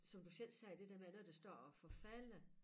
Som du selv sagde det der med når det står og forfalder